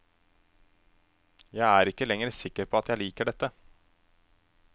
Jeg er ikke lenger sikker på at jeg liker dette.